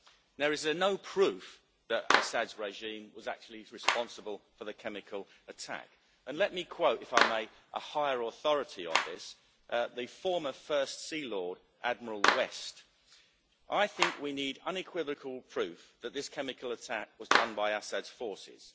There is no proof that Assad's regime was actually responsible for the chemical attack, and let me quote, if I may, a higher authority on this the former First Sea Lord, Admiral West I think we need unequivocal proof that this chemical attack was done by Assad's forces.